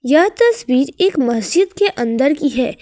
यह तस्वीर एक मस्जिद के अंदर की है।